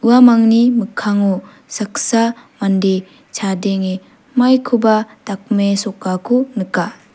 uamangni mikkango saksa mande chadenge maikoba dakmesokako nika.